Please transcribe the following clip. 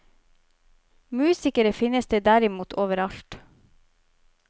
Musikere finnes det derimot over alt.